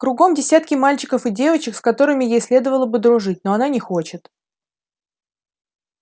кругом десятки мальчиков и девочек с которыми ей следовало бы дружить но она не хочет